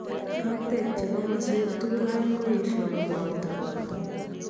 Roteek che komasweek tukul aeng koyeshaa koboota